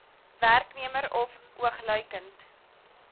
werknemer of oogluikend